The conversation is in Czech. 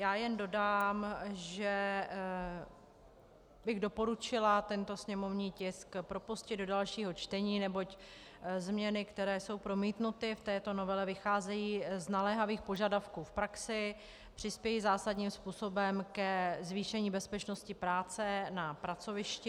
Já jen dodám, že bych doporučila tento sněmovní tisk propustit do dalšího čtení, neboť změny, které jsou promítnuty v této novele, vycházejí z naléhavých požadavků v praxi, přispějí zásadním způsobem ke zvýšení bezpečnosti práce na pracovišti.